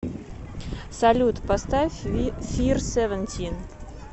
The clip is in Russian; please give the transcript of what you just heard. салют поставь фир севентин